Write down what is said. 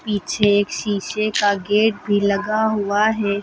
पीछे एक शीशे का गेट भी लगा हुआ है।